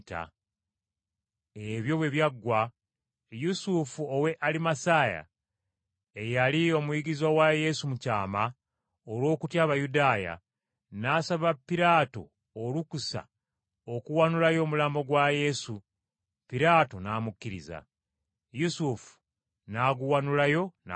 Ebyo bwe byaggwa, Yusufu ow’e Alimasaya, eyali omuyigirizwa wa Yesu mu kyama olw’okutya Abayudaaya, n’asaba Piraato olukusa okuwanulayo omulambo gwa Yesu, Piraato n’amukkiriza. Yusufu n’aguwanulayo n’agutwala.